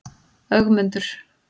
Ögmundur